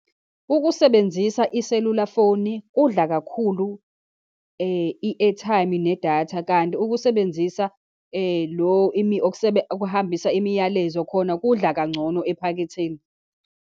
Ukusebenzisa iselulafoni kudla kakhulu i-airtime nedatha, kanti ukusebenzisa lo, okuhambisa imiyalezo, khona kudla kangcono ephaketheni.